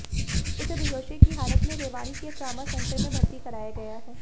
उसे बेहोशी की हालत में रेवाड़ी के ट्रॉमा सेंटर में भर्ती कराया गया है